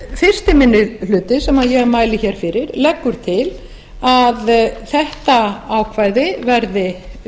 fyrsti minni hluti sem ég mæli hér fyrir leggur hér til að átt ákvæði verði